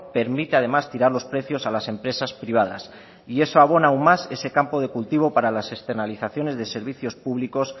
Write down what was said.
permite además tirar los precios a las empresas privadas y eso abona aún más ese campo de cultivo para las externalizaciones de servicios públicos